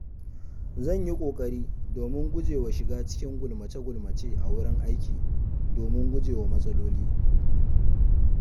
Zan yi ƙoƙari domin guje wa shiga cikin gulmace-gulmace a wurin aiki domin gujewa matsaloli.